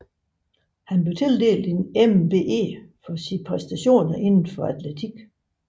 Han blev tildelt en MBE for sine præstationer inden for atletik